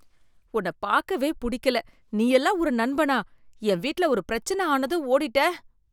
உன்ன பாக்கவே புடிக்கல. நீயெல்லாம் ஒரு நண்பனா. என் வீட்ல ஒரு பிரச்சன ஆனதும் ஓடிட்ட.